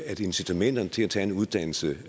at incitamenterne til at tage en uddannelse